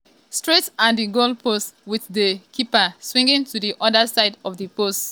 straight at di goalpost wit di di keeper swinging to di oda side of di post but e miss di chance to score.